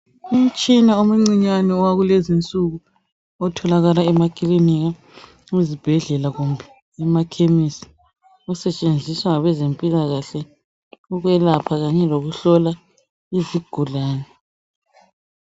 Umtshina omncinyane owakulezi nsuku otholakala emakilinika ezibhedlela kumbe emakhemisi osetshenziswa ngabezempilakahle ukwelapha kanye lokuhlola izigulani.